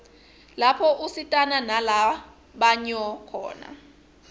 lapho usitana nala banyo khona